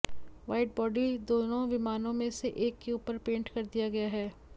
wide body दोनों विमान में से एक के ऊपर पेंट कर दिया गया है